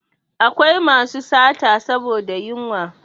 Akwai masu sata saboda yunwa